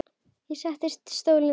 Ég sest í stólinn þinn.